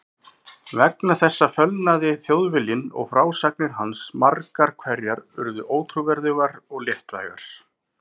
Vegna þessa fölnaði Þjóðviljinn og frásagnir hans margar hverjar urðu ótrúverðugar og léttvægar.